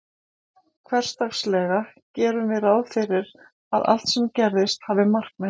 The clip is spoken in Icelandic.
Hversdagslega gerum við ráð fyrir að allt sem gerist hafi markmið.